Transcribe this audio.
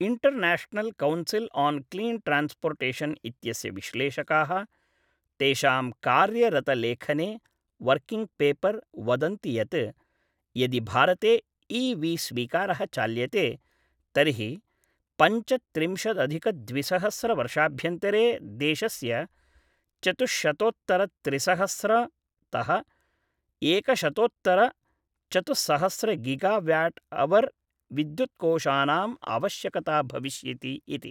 International council on clean transportation इत्यस्य विश्लेषकाः, तेषां कार्यरतलेखने वर्किङ्ग् पेपर् वदन्ति यत्, यदि भारते इ.वि.स्वीकारः चाल्यते, तर्हि पञ्चत्रिंशद् अधिक द्विसहस्र वर्षाभ्यन्तरे देशस्य चतुश्शतोत्तर त्रिसहस्र तः एकशतोत्तर चतुस्सहस्र गिगाव्याट् हवर् विद्युत्कोशानाम् आवश्यकता भविष्यति इति।